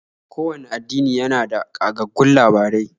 Kowanne addini yana da ƙagaggun labarai.